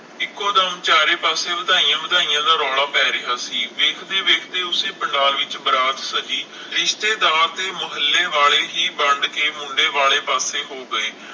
ਇਕੋ ਦਮ ਚਾਰੇ ਪਾਸੇ ਵਧਾਇਆ ਵਧਾਇਆ ਦਾ ਰੌਲਾ ਪੈ ਰਿਹਾ ਸੀ, ਵੇਖਦੇ ਵੇਖਦੇ ਓਸੇ ਪੰਡਾਲ ਵਿਚ ਬਰਾਤ ਸੱਜੀ ਰਿਸ਼ਤੇਦਾਰ ਤੇ ਮੋਹੱਲੇ ਵਾਲੇ ਹੀ ਵੰਡ ਕੇ ਮੁੰਡੇ ਵਾਲੇ ਪਾਸੇ ਹੋ ਗਏ